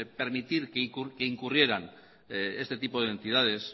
permitir que incurrieran este tipo de entidades